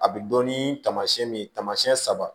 A bɛ dɔn ni taamayɛn ye taamasiyɛn saba